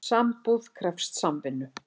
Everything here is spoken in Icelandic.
Sambúð krefst samvinnu.